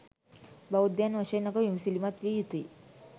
බෞද්ධයන් වශයෙන් අප විමසිලිමත් විය යුතුයි.